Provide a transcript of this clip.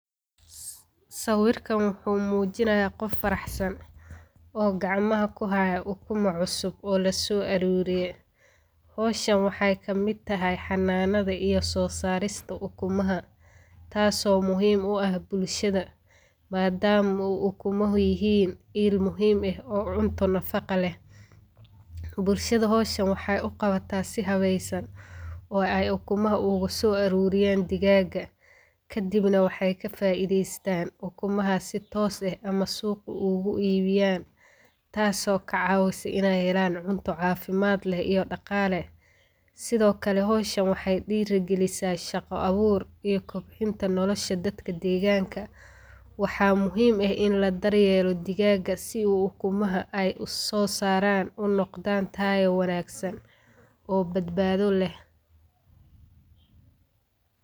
Sawirkaan wuxu mujinaaya qof faraxsan oo gacmaha kuu haayo ukumaa cusub oo laso aruuriye. howshaan waxey kamiid tahay xananada iyo soo sarista ukumaaha taaso muhiim uu aah bulshaada maadamo eey ukumaaha iil muhiim aah eeh oo cunto nafaqo leeh. bulshada howshan waxey uu qawata sii haweysan oo aay ukumaaha oga soo aruuriyan digaga. kadiib na waxey kaa faideystan ukmaaha sii tos eeh ama suqa ug ibiiyan taaso kaa cawise iney helaan cunto cafimaad leh iyo dhaqaale. sido kaale howshaan waxey dhiraagalisa shaqa abuur iyo kobciinta nolosha dadka degaanka. waxa muhiim aah iin laa daryeelo digaga sii uu ukumaaha aay usosaran uu noqdaan taayo wanagsan oo babaada leh.